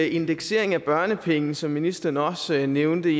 indeksering af børnepenge som ministeren også nævnte